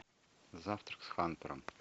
завтрак с хантером